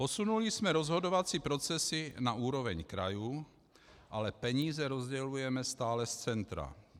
Posunuli jsme rozhodovací procesy na úroveň krajů, ale peníze rozdělujeme stále z centra.